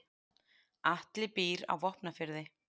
Atli býr á Vopnafirði.